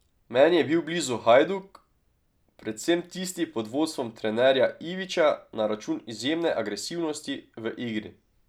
Meni je bil blizu Hajduk, predvsem tisti pod vodstvom trenerja Ivića na račun izjemne agresivnosti v igri.